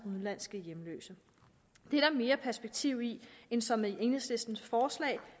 udenlandske hjemløse det er der mere perspektiv i end som enhedslistens forslag